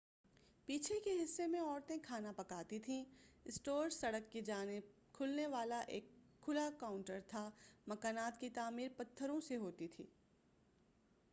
پیچھے کے حصہ میں عورتیں کھانا پکاتی تھیں اسٹور سڑک کی جانب کھلنے والا ایک کھلا کونٹر تھا مکانات کی تعمیر پتھروں سے ہوتی تھی